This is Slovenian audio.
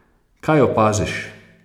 Kaj opaziš?